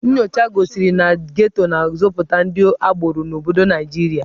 Nnyocha gosiri na Geto na-azụpụta ndị agboro n'obodo Naịjirịa.